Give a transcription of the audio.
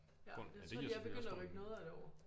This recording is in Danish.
På ja det giver selvfølgelig også god mening